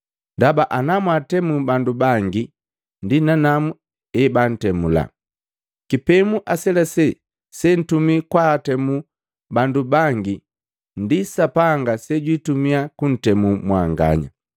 Ndaba emwatemu bandu bangi, ndi nanamu ebantemula. Kipemu aselase sentumii kwa kwaatemu bandu bangi ndi Sapanga sejwitumia kuntemu mwanganya.